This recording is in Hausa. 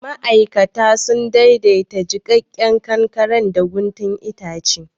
Ma'aikata sun daidaita jikakken kankaren da guntun itace.